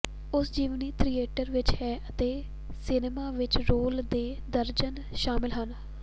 ਉਸ ਜੀਵਨੀ ਥੀਏਟਰ ਵਿਚ ਹੈ ਅਤੇ ਸਿਨੇਮਾ ਵਿੱਚ ਰੋਲ ਦੇ ਦਰਜਨ ਸ਼ਾਮਿਲ ਹਨ